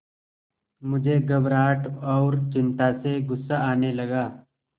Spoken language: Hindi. मुझे घबराहट और चिंता से गुस्सा आने लगा